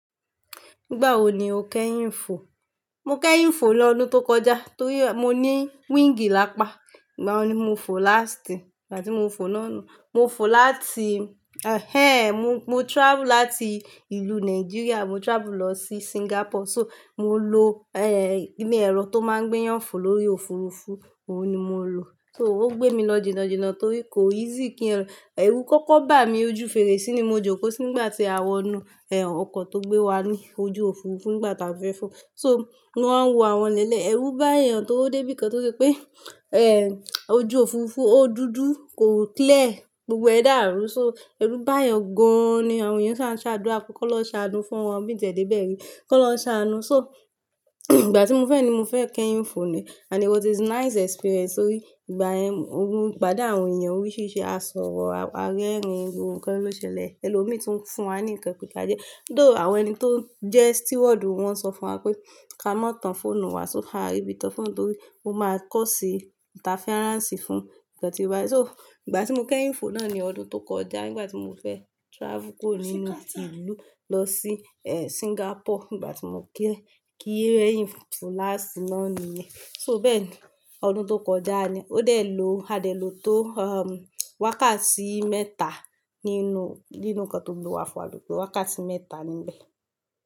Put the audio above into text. Nígbà wo ni o kẹ́yìn fo? Mo kẹ́yìn fo lọ́dún tó kọjá torí mo ní wing lápá, ìgbà wo ni mo fo láàsti? Ìgbà tí mo fo náà nu, mo fo láti-- ehn mo, mo travel láti ìlú Nigeria mo travel lọ sí Singapore so mo lo eh inú ẹ̀rọ tó máa ń gbéyàn fo lórí òfurufú, òun ni mo lò. So ó gbé mi lọ jìnà jìnà torí kò easy kí ẹ̀rọ-- ẹrú kọ́kọ́ bà mí ojú fèrèsé ni mo jókòó sí nígbà tí a wọnú ẹ òkọ̀ tó gbé wa ní ojú òfurufú nígbà tí a fẹ́ fo. So, mo wa ń wo àwọn ileele, ẹrú bá èèyàn tó dé bíi kan tó se pé eh ojú òfurufú ó dúdú kò clear, gbogbo ẹ̀ dàrú. So ẹrú bá èèyàn gan-an ni àwọn èèyàn ṣa, ń ṣ'àdúrà pé kọ́'lọun ṣ'àánú fún wọn bí i tẹ̀ dé ibẹ̀ rí, kọ́'lọun ṣ'àánú. So ìgbà tí mo fẹ́ ni mo fẹ́ kẹ́yìn fo ni and it was nice experience torí ìgbà yẹn mo pàdé àwọn èèyàn oríṣiríṣi a sọ̀rọ̀ a rín ẹ̀rín. Gbogbo nkan ló ṣẹlẹ̀ ẹlòmíì tún ń fún wa ní ǹkan pé ká jẹ́. Though, àwọn ẹni tó jẹ́ steward wọ́n sọ fún wa pé ká maá tàn fóònù wa so á ri ibi tàn fóònù torí ó máa cause interference fún ǹkan tí ó bá wà. So ìgbà tí mo kẹ́yìn fo náà ni ọdún tó kọjá nígbà tí mo fẹ́ travel kúrò nínú ìlú lọ sí eh Singapore nígbà tí mo kẹ́, kí rẹ́yìn fo láàsì náà ni. So bẹ́ẹ̀ni ọdún tó kọjá ni. Ó dẹ̀ ló, a dẹ̀ ló tó um wákàtí mẹ́ta nínú, nínú ǹkan tó gbé wa fo à lo to wákàtí mẹ́ta ni bẹ́ẹ̀.